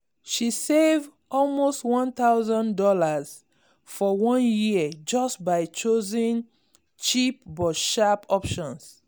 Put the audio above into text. she save almost one thousand dollars for one year just by choosing cheap but sharp options.